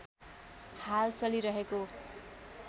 हाल चलिरहेको